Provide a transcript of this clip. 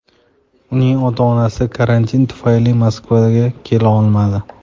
Uning ota-onasi karantin tufayli Moskvaga kela olmadi.